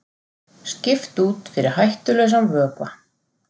Skipt út fyrir hættulausan vökva